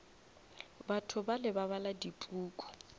batho bale ba bala dipuku